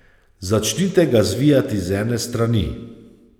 Začnite ga zvijati z ene strani.